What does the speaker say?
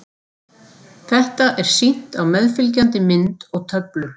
Þetta er sýnt á meðfylgjandi mynd og töflu.